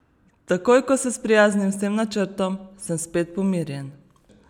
Takoj, ko se sprijaznim s tem načrtom, sem spet pomirjen.